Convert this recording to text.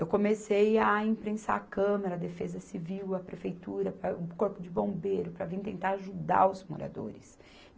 Eu comecei a imprensar a Câmara, a Defesa Civil, a Prefeitura, para, o Corpo de Bombeiro, para vir tentar ajudar os moradores.